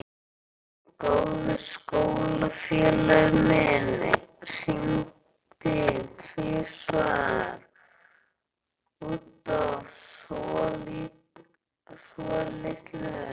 Góður skólafélagi minn hringdi tvisvar út af svolitlu.